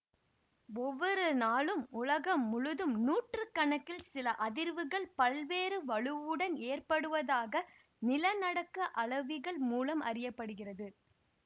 ஒவ்வொரு நாளும் உலகம் முழுதும் நூற்று கணக்கில் நில அதிர்வுகள் பல்வேறு வலுவுடன் ஏற்படுவதாக நிலநடுக்க அளவிகள் மூலம் அறிய படுகிறது